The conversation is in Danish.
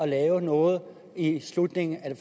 lave noget i slutningen af